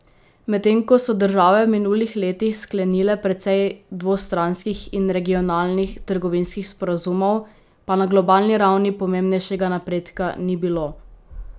Medtem ko so države v minulih letih sklenile precej dvostranskih in regionalnih trgovinskih sporazumov, pa na globalni ravni pomembnejšega napredka ni bilo.